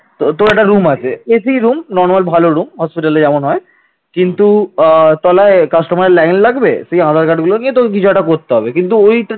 তলায় কাস্টমারের লাইন লাগবে? সেই আধার কার্ডগুলো নিয়ে তোকে কিছু একটা করতে হবে কিন্তু ওই